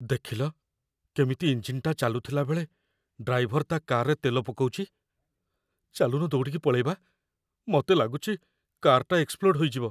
ଦେଖିଲ, କେମିତି ଇଞ୍ଜିନ୍‌ଟା ଚାଲୁଥିଲା ବେଳେ ଡ୍ରାଇଭର ତା' କାର୍‌ରେ ତେଲ ପକଉଚି । ଚାଲୁନ ଦୌଡ଼ିକି ପଳେଇବା? ମତେ ଲାଗୁଚି କାର୍‌ଟା ଏକ୍ସପ୍ଲୋଡ଼୍ ହେଇଯିବ ।